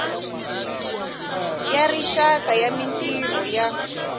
ya rixaka ya mintirho ya